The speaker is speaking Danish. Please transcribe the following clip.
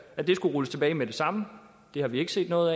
at det skulle rulles tilbage med det samme har vi ikke set noget